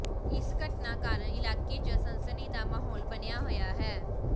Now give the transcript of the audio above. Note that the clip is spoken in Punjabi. ਇਸ ਘਟਨਾ ਕਾਰਨ ਇਲਾਕੇ ਚ ਸਨਸਨੀ ਦਾ ਮਾਹੌਲ ਬਣਿਆ ਹੋਇਆ ਹੈ